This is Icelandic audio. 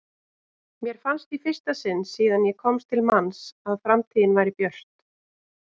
Mér fannst í fyrsta sinn síðan ég komst til manns að framtíðin væri björt.